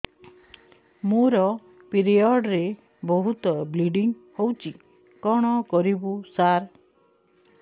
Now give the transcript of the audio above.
ମୋର ପିରିଅଡ଼ ରେ ବହୁତ ବ୍ଲିଡ଼ିଙ୍ଗ ହଉଚି କଣ କରିବୁ ସାର